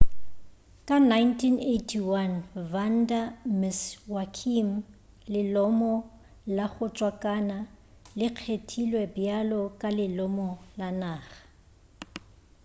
ka 1981 vanda miss joaquim lelomo la go tswakana le kgethilwe bjalo ka lelomo la naga